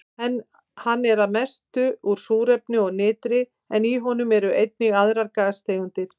Hann er að mestu úr súrefni og nitri en í honum eru einnig aðrar gastegundir.